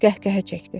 Qəhqəhə çəkdi.